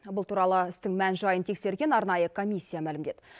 бұл туралы істің мән жайын тексерген арнайы комиссия мәлімдеді